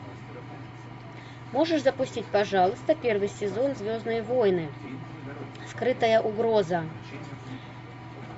можешь запустить пожалуйста первый сезон звездные войны скрытая угроза